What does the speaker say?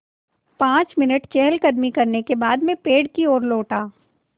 पाँच मिनट चहलकदमी करने के बाद मैं पेड़ की ओर लौटा